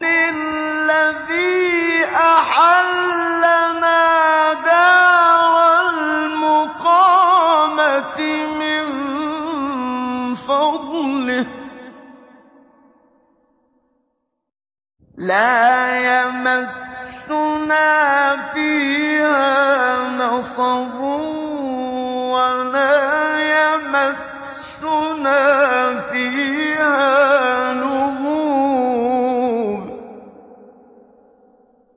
الَّذِي أَحَلَّنَا دَارَ الْمُقَامَةِ مِن فَضْلِهِ لَا يَمَسُّنَا فِيهَا نَصَبٌ وَلَا يَمَسُّنَا فِيهَا لُغُوبٌ